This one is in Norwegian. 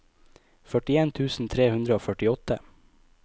førtien tusen tre hundre og førtiåtte